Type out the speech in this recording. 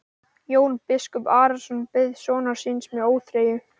Jón biskup Arason beið sonar síns með óþreyju.